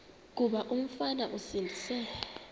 kuba umfana esindise